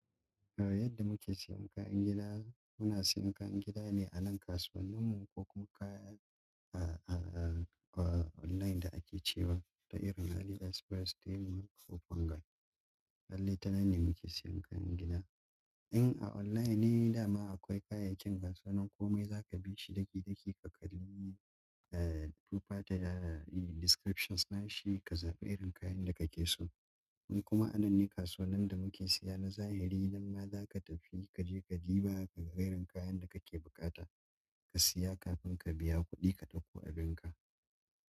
Yadda muke siyan kayan gida, muna siyan kayan gida ne a nan kasuwanninmu ko kuma kayan ah ah a online da ake cewa ta irin Adidas, first time ko fungal. Halle tananne muke siyan kayan gida. In a online ne dama akwai kayayyakin kasuwanin komai za ka bi shi ɗaki ɗaki ka kalli eh tufa ta da descriptions na shi ka zaɓi irin kayan da ka ke so. Kuma a nan ne kasuwannan da muke siya na zahiri nan ma za ka tafi kaje ka duba ka ga irin kayan da kake buƙata ka siya kafin ka biya kuɗi ka ɗauko abin ka.